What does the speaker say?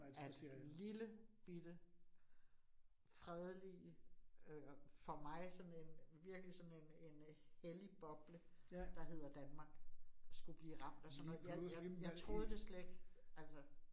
At lillebite, fredelige, øh for mig sådan en virkelig sådan en en hellig boble, der hedder Danmark skulle blive ramt af sådan noget. Jeg jeg troede det slet ikke altså